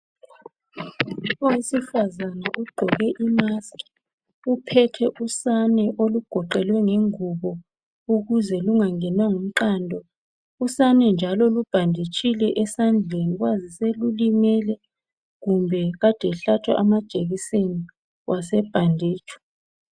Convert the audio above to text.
Owesifazana ugqoke imask uphethe usane olugoqelwe ngengubo ukuze lungangenwa ngumqando . Usane njalo lubhanditshile esandleni kwazise lulimele kumbe kade hlatshwa amajekiseni wase bhanditshwa.